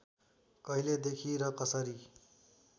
कहिलेदेखि र कसरी